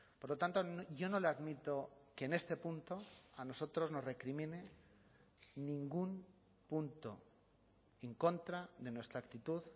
por lo tanto yo no le admito que en este punto a nosotros nos recrimine ningún punto en contra de nuestra actitud